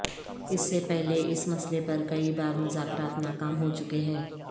اس سے پہلے اس مسئلے پر کئی بار مذاکرات ناکام ہو چکے ہیں